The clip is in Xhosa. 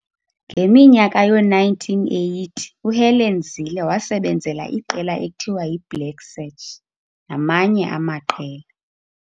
Ngeminyaka yoo-1980, uHelen Zille wasebenzela iqela ekuthiwa yi-"Black Sach" namanye amaqela.